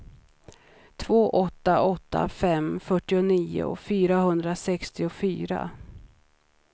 två åtta åtta fem fyrtionio fyrahundrasextiofyra